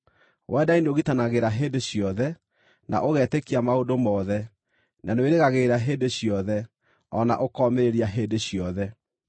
Wendani nĩũgitanagĩra hĩndĩ ciothe, na ũgetĩkia maũndũ mothe, na nĩwĩrĩgagĩrĩra hĩndĩ ciothe, o na ũkomĩrĩria hĩndĩ ciothe.